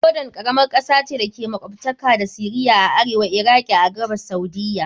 Jordan karamar kasa ce da ke makwabtaka da Syria a arewa, Iraki a gabas, Saudiyya..